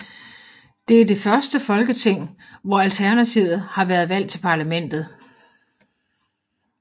Det er det første folketing hvor at Alternativet har været valgt til parlamentet